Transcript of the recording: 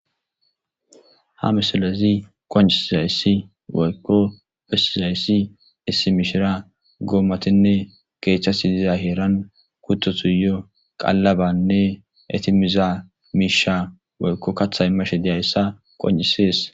ha misalezi qoncizayssi woykko pessizayssi issi mishira goommatinne keethchas idiza heeran kuttotuyo qallabanne etimiza miisha woykko katha imashe diyayssa qoncisees